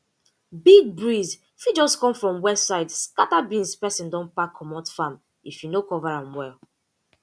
big breeze fit just come from west side scatter beans person don pack comot farm if you no cover am well